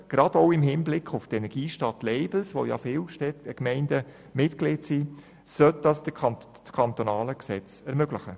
Das ist gerade auch im Hinblick auf die Energiestadt-Labels wichtig, denn viele Gemeinden haben die entsprechende Mitgliedschaft.